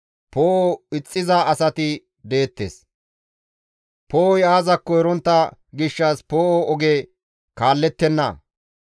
Poo7o ixxiza asati deettes; poo7oy aazakko erontta gishshas poo7o oge kaallettenna.